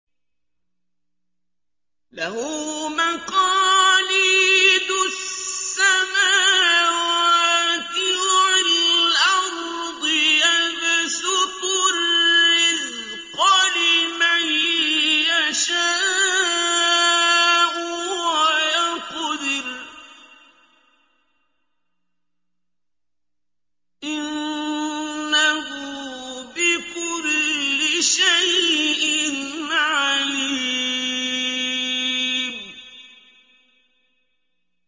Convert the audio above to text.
لَهُ مَقَالِيدُ السَّمَاوَاتِ وَالْأَرْضِ ۖ يَبْسُطُ الرِّزْقَ لِمَن يَشَاءُ وَيَقْدِرُ ۚ إِنَّهُ بِكُلِّ شَيْءٍ عَلِيمٌ